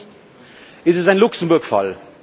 Erstens Ist es ein Luxemburg Fall?